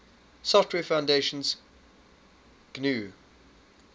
software foundation's gnu